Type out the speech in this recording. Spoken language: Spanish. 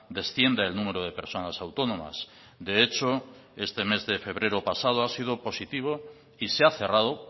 descienda el número de personas autónomas de hecho este mes de febrero pasado ha sido positivo y se ha cerrado